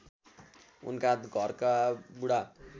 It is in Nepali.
उनका घरका बुढा